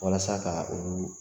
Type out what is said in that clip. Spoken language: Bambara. Walasa ka olu